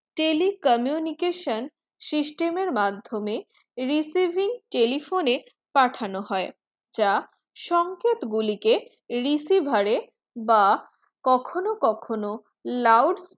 telecommunication system এর মাধ্যমে receiving telephone পাঠনো হয় যা সংকেতগুলিকে receiver এর বা কখনো কখনো loud